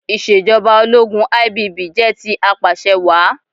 Ìṣèjọba ológun IBB jẹ́ ti Apàṣẹwàá.